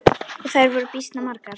Og þær voru býsna margar.